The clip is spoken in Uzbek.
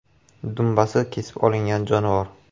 Dumbasi kesib olingan jonivor.